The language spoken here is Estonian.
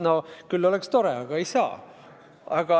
No küll oleks tore, aga ei saa.